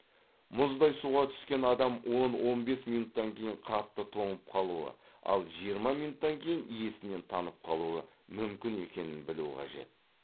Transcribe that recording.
мұздай суға түскен адам он он бес минуттан кейін қатты тоңып қалуы ал жиырма минуттан кейін есінен танып қалуы мүмкін екенін білу қажет